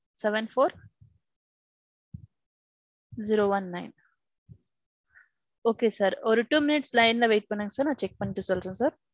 seven four zero one nine okay sir. ஒரு two minutes line ல wait பன்னுங்க sir. நான் check பன்னிட்டு சொல்றேன் sir.